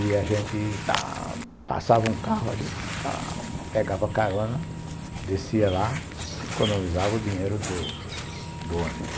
E a gente passava um carro, a gente pegava a carona, descia lá, economizava o dinheiro do do ônibus.